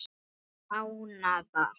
Átta mánaða